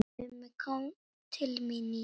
Mummi kom til mín í